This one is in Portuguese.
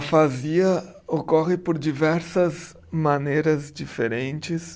Afasia ocorre por diversas maneiras diferentes.